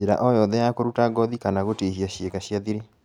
Njĩra o yothe ya kũruta ngothĩ kana gũtihia ciĩga cia thiri